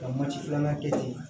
Ka waati filanan kɛ ten